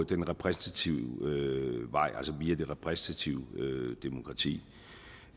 den repræsentative vej altså via det repræsentative demokrati